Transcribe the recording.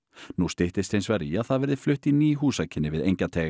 nú styttist hins vegar í að það verði flutt í ný húsakynni við Engjateig